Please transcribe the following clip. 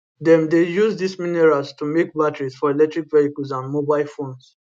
dem dey use dis minerals to make batteries for electric vehicles and mobile phones